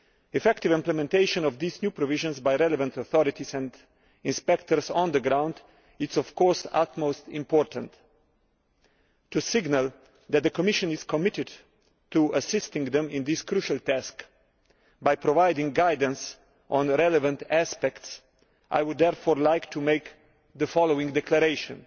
Effective implementation of these new provisions by relevant authorities and inspectors on the ground is of course of the utmost importance. To signal that the Commission is committed to assisting them in this crucial task by providing guidance on relevant aspects, I would therefore like to make the following declaration.